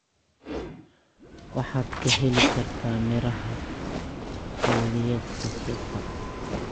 Waxaad ka heli kartaa miraha xilliyeedka suuqa.